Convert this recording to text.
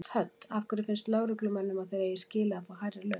Hödd: Af hverju finnst lögreglumönnum að þeir eigi skilið að fá hærri laun?